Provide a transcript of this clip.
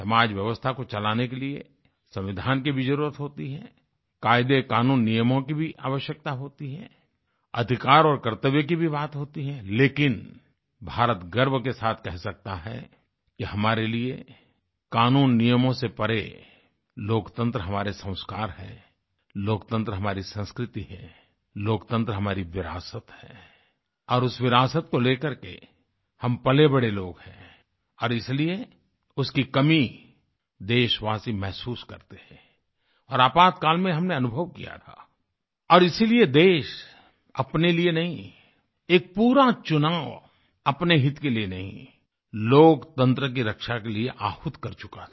समाज व्यवस्था को चलाने के लिए संविधान की भी जरुरत होती है कायदे कानून नियमों की भी आवश्यकता होती है अधिकार और कर्तव्य की भी बात होती है लेकिन भारत गर्व के साथ कह सकता है कि हमारे लिए कानून नियमों से परे लोकतंत्र हमारे संस्कार हैं लोकतंत्र हमारी संस्कृति है लोकतंत्र हमारी विरासत है और उस विरासत को लेकरके हम पलेबड़े लोग हैं और इसलिए उसकी कमी देशवासी महसूस करते हैं और आपातकाल में हमने अनुभव किया था और इसीलिए देश अपने लिए नहीं एक पूरा चुनाव अपने हित के लिए नहीं लोकतंत्र की रक्षा के लिए आहूत कर चुका था